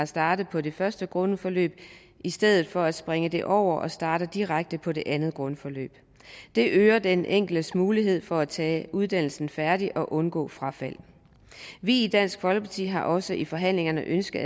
starter på det første grundforløb i stedet for at springe det over og starte direkte på det andet grundforløb det øger den enkeltes mulighed for at tage uddannelsen færdig og undgå frafald vi i dansk folkeparti har også i forhandlingerne ønsket